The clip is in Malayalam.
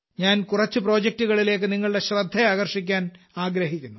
ഞാൻ കുറച്ചു പ്രൊജെക്ടുകളിലേക്ക് നിങ്ങളുടെ ശ്രദ്ധ ആകർഷിക്കാൻ ആഗ്രഹിക്കുന്നു